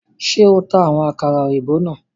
Ṣe o ta awọn àkàrà òyìnbó náà?